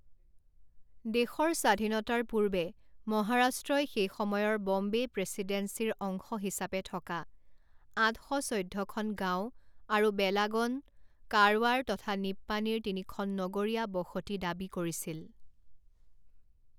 দেশৰ স্বাধীনতাৰ পূৰ্বে মহাৰাষ্ট্ৰই সেই সময়ৰ ব'ম্বে প্ৰেচিডেন্সীৰ অংশ হিচাপে থকা আঠ শ চৈধ্য খন গাঁও, আৰু বেলাগন, কাৰৱাৰ তথা নিপ্পানীৰ তিনি খন নগৰীয়া বসতি দাবী কৰিছিল।